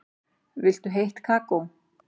Viltu heitt kakó?